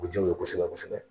U bɛ jaa u ye kosɛbɛ kosɛbɛ.